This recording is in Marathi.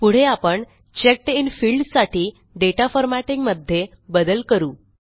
पुढे आपण चेक्ड इन फील्ड साठी दाता फॉर्मॅटिंग मध्ये बदल करू